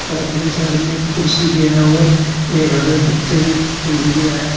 Side में एक कुर्सी भी है और एक हरे पत्ते में फूल भी है।